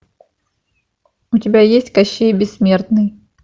у тебя есть кощей бессмертный